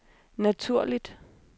naturligt